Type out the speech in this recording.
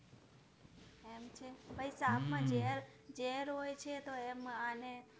સાપ માં તો ઝેર હોય છે તો એમ આને